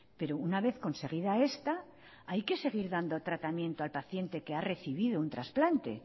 pero una vez conseguida esta hay que seguir dando tratamiento al paciente que ha recibido un trasplante